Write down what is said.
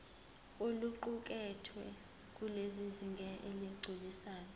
oluqukethwe lusezingeni eligculisayo